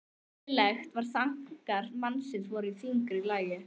Greinilegt var að þankar mannsins voru í þyngra lagi.